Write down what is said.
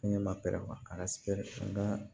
Ɲɛ ma pɛrɛn a ka nka